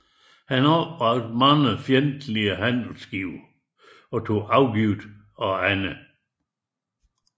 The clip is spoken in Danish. Han opbragte mange fjendtlige handelsskibe og tog afgift af andre